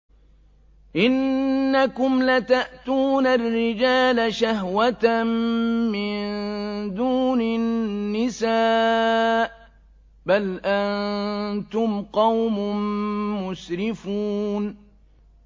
إِنَّكُمْ لَتَأْتُونَ الرِّجَالَ شَهْوَةً مِّن دُونِ النِّسَاءِ ۚ بَلْ أَنتُمْ قَوْمٌ مُّسْرِفُونَ